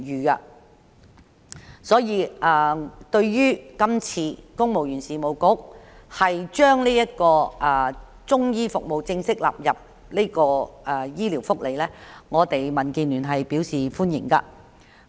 因此，對於公務員事務局把中醫服務正式納入醫療福利，民建聯表示歡迎。